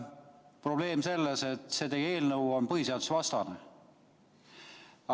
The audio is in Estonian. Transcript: Probleem on selles, et teie eelnõu on põhiseadusvastane.